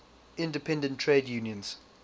independent trade unions